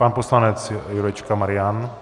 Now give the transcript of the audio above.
Pan poslanec Jurečka Marian.